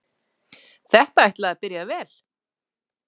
Þetta ætlaði að byrja vel!